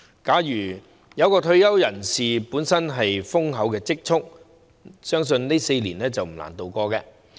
假如有退休人士本身有豐厚積蓄，相信這4年不難渡過。